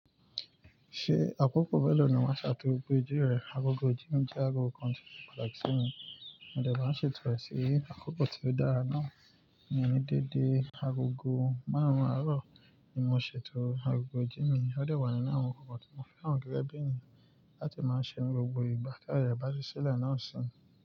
Ṣé àkókò mẹ́ẹ̀ lọ ni máa ṣe agogo ijire agogo ijimi, je ago kan tose pataki simi. Mode maa de ń ṣètò rẹ sí akoko tó dára náà, mi ò ní dédé agogo márùn-ún àárọ̀ ni mo ṣètò agogo ijimi. Ó dà wá nínú àwọn nkankan tí mo fẹ́ran gẹ́gẹ́ bí ènìyàn láti máa ṣe ní gbogbo ìgbà ti aye re baa sile nasì.